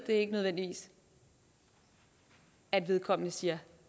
ikke nødvendigvis at vedkommende siger